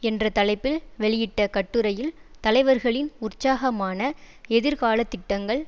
என்ற தலைப்பில் வெளியிட்ட கட்டுரையில் தலைவர்களின் உற்சாகமான எதிர்காலத்திட்டங்கள்